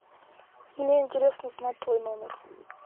мне интересно узнать твой номер